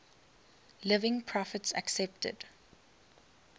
living prophets accepted